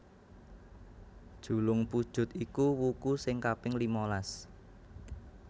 Julungpujut iku wuku sing kaping limalas